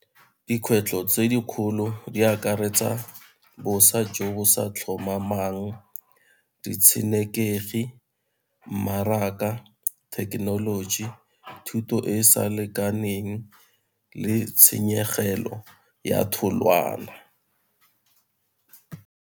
Dikgwetlho tse dikgolo di akaretsa bosa jo bo sa tlhomamang, ditshenekegi, mmaraka, thekenoloji, thuto e e sa lekaneng le tshenyegelo ya tholwana.